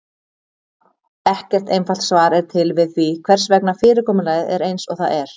Ekkert einfalt svar er til við því hvers vegna fyrirkomulagið er eins og það er.